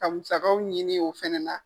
Ka musakaw ɲini o fɛnɛ na.